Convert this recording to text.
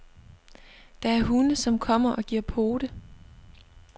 Der er hunde, som kommer og giver pote.